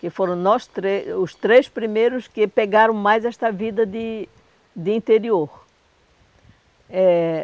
Que foram nós três os três primeiros que pegaram mais esta vida de de interior eh.